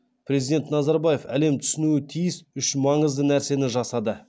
президент назарбаев әлем түсінуі тиіс үш маңызды нәрсені жасады